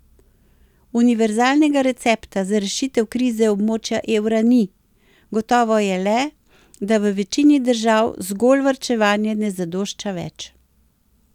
Univerzalnega recepta za rešitev krize območja evra ni, gotovo je le, da v večini držav zgolj varčevanje ne zadošča več.